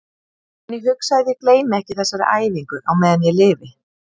En ég hugsa að ég gleymi ekki þessari æfingu á meðan ég lifi.